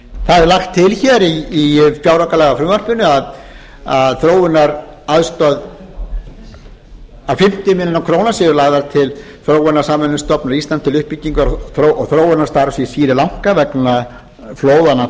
það er lagt til hér í fjáraukalagafrumvarpinu að fimmtíu milljónir króna séu lagðar til þróunarsamvinnustofnunar íslands til uppbyggingar og þróunarstarfs í sri lanka vegna flóðanna